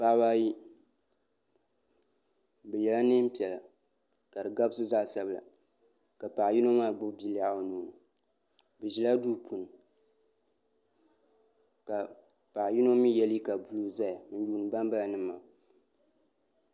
Paɣaba ayi bi ye la nɛɛn piɛlla ka di gabisi zaɣi sabila ka paɣa yino maa gbibi bia lɛɣu o nuu ni bi zila duu puuni ka paɣa yino mi ye liiga buluu zaya n yuuni bani bala nima maa.